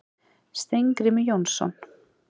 Steingrímur Jónsson.